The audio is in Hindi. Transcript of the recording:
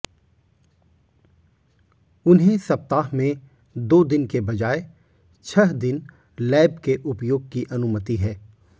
उन्हें सप्ताह में दो दिन के बजाय छह दिन लैब के उपयोग की अनुमति है